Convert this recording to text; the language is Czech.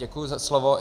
Děkuji za slovo.